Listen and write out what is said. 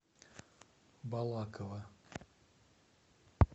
балаково